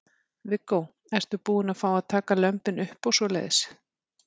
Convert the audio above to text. Viggó: Ertu búin að fá að taka lömbin upp og svoleiðis?